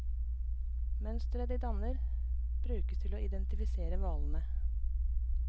Mønsteret de danner brukes til å identifisere hvalene.